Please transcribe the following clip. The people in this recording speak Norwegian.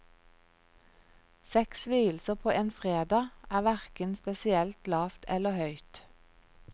Seks vielser på en fredag er hverken spesielt lavt eller høyt.